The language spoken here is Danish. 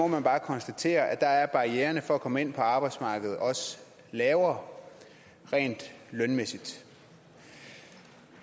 man bare konstatere at der er barriererne for at komme ind på arbejdsmarkedet også lavere rent lønmæssigt